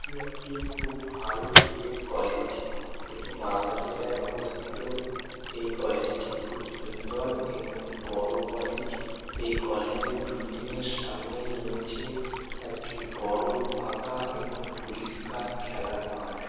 এটি একটি খুব ভালো ডি এড কলেজ এটি মালদা জেলায় অবস্থিত এই কলেজ টি খুব সুন্দর এবং বড়ো কলেজ এই কলেজ এর বিল্ডিং -এর সামনেই রয়েছে একটি বড়ো ফাঁকা এবং পরিষ্কার খেলার মাঠ।